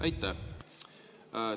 Aitäh!